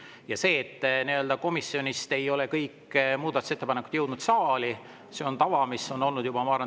Ja see, et komisjonist ei ole kõik muudatusettepanekud jõudnud saali, on tava, mis on olnud, ma arvan, tervelt 30 aastat.